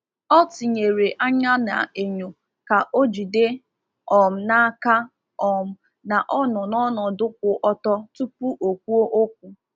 Ọ tinyere anya n’enyo ka o jide um n’aka um na ọ nọ n’ọnọdụ kwụ ọtọ tupu o kwuo okwu.